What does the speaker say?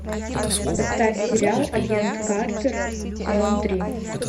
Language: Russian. поставь сериал агент картер сезон три